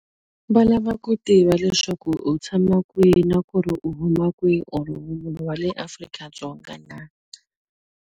Va lava ku tiva leswaku u tshama kwihi na ku ri u huma kwihi or wa le Afrika-Dzonga na?